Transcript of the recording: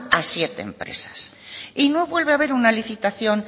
a siete empresas y no vuelve a haber una licitación